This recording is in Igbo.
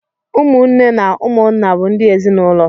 ụmụ nne na ụmụ nna bụ ndị ezinụlọ.